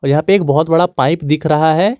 यहां पे एक बहुत बड़ा पाइप दिख रहा है।